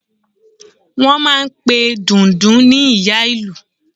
Wọ́n máà ń pe Dundun ní Ìyá Ìlú